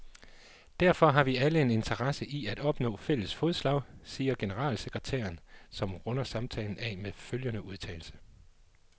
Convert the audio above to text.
Derfor har vi alle en interesse i at opnå fælles fodslag, siger generalsekretæren, som runder samtalen af med følgende udtalelse.